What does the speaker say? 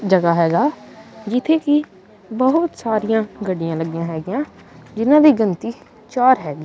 ਜਗਾ ਹੈਗਾ ਜਿੱਥੇ ਕਿ ਬਹੁਤ ਸਾਰੀਆਂ ਗੱਡੀਆਂ ਲੱਗੀਆਂ ਹੈਗੀਆਂ ਜਿਹਨਾਂ ਦੀ ਗਿਣਤੀ ਚਾਰ ਹੈਗੀ।